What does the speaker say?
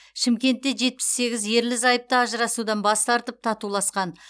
шымкентте жетпіс сегіз ерлі зайыпты ажырасудан бас тартып татуласқан